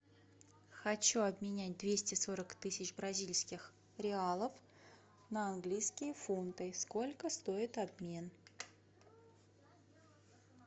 хочу обменять двести сорок тысяч бразильских реалов на английские фунты сколько стоит обмен